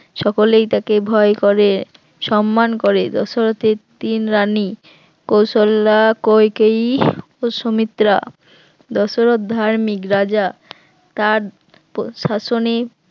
সকলেই তাকে ভয় করে সম্মান করে দশরথের তিন রানী কৌশল্যা কইকেয়ীর ও সুমিত্রা দশরথ ধার্মিক রাজা, তার পশাসনে